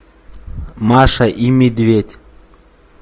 маша и медведь